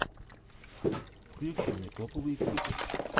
включи мне топовые клипы